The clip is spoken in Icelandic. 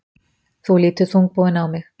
Þú lítur þungbúinn á mig.